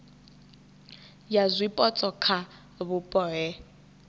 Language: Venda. ya zwipotso kha vhupo he